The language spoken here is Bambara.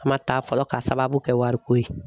A ma taa fɔlɔ k'a sababu kɛ wariko ye.